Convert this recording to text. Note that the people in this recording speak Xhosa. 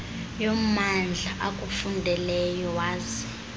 yommandla akufundeleyo waze